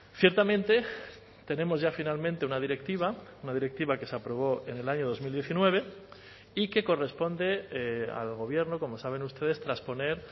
ciertamente tenemos ya finalmente una directiva una directiva que se aprobó en el año dos mil diecinueve y que corresponde al gobierno como saben ustedes trasponer